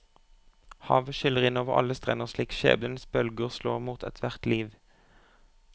Havet skyller inn over alle strender slik skjebnens bølger slår mot ethvert liv.